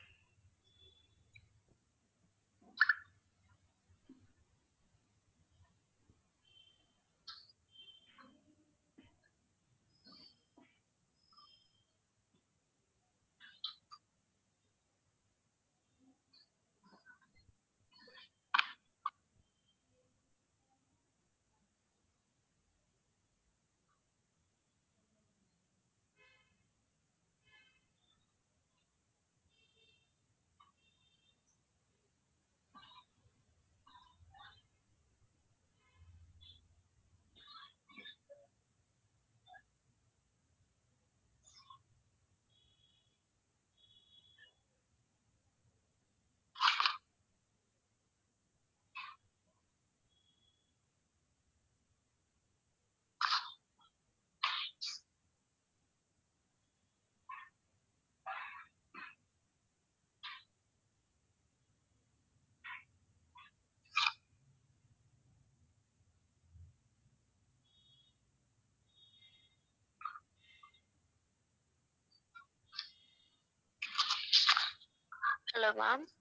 hello maam